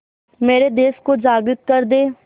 मेरे देश को जागृत कर दें